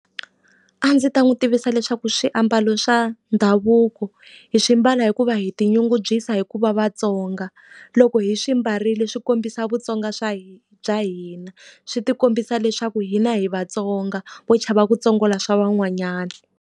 A ndzi ta n'wi tivisa leswaku swiambalo swa ndhavuko hi swi ambala hikuva hi tinyungubyisa hi ku va vatsonga. Loko hi swi ambarile swi kombisa vutsonga swa bya hina. Swi ti kombisa leswaku hina hi vatsonga ho chava ku tsongola swa van'wanyana.